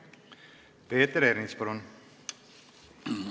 Peeter Ernits, palun!